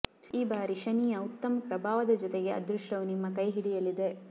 ಈ ಬಾರಿ ಶನಿಯ ಉತ್ತಮ ಪ್ರಭಾವದ ಜೊತೆಗೆ ಅದೃಷ್ಟವು ನಿಮ್ಮ ಕೈ ಹಿಡಿಯಲಿದೆ